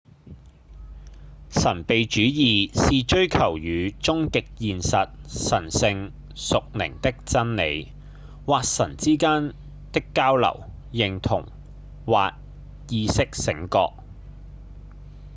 神祕主義是追求與終極現實、神性、屬靈的真理、或神之間的交流、認同、或意識覺醒